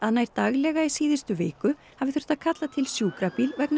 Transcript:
nær daglega í síðustu viku hafi þurft að kalla til sjúkrabíl vegna